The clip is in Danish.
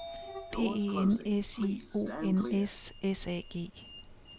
P E N S I O N S S A G